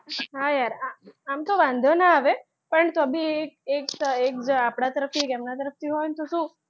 હા યાર આમ તો વાંધો ના આવે પણ તો બી એક આપડા તરફથી એક એમનાં તરફથી હોય તો શું,